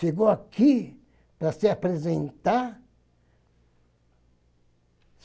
Chegou aqui para se apresentar.